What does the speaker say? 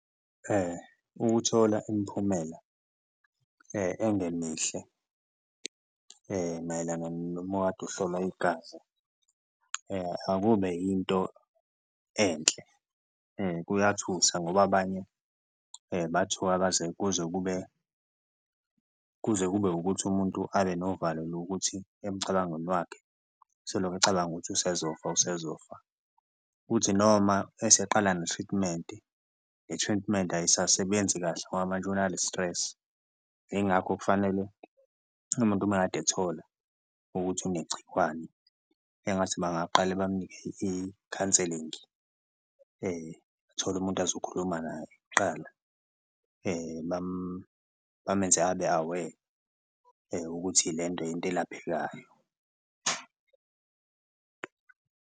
Ukuthola imiphumela engemihle mayelana noma ukade uhlolwa igazi akube yinto enhle, kuyathusa ngoba abanye bathuka baze kuze kube kuze kube ukuthi umuntu abe novalo lokuthi emicabangweni wakhe soloko ecabanga ukuthi usezofaka usezofaka, uthi noma eseqala ne-treatment, i-treatment ayisasebenzi kahle ngoba manje unale stress. Ingakho kufanele umuntu uma kade ethola ukuthi unegciwane engathi bangaqale bamunike i-counselling athole umuntu azokhuluma naye kuqala bamenze abe-aware ukuthi lento into elaphekayo.